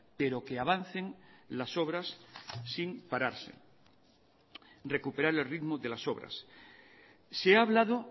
pero que avancen las obras sin pararse recuperar el ritmo de las obras se ha hablado